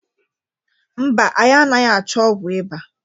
mba, anyị anghị achọ ọgwụ ịba.